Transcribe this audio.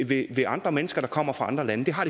ved andre mennesker der kommer fra andre lande det har